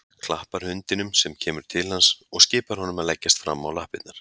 Klappar hundinum sem kemur til hans og skipar honum að leggjast fram á lappirnar.